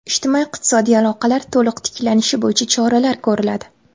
Ijtimoiy-iqtisodiy aloqalar to‘liq tiklanishi bo‘yicha choralar ko‘riladi.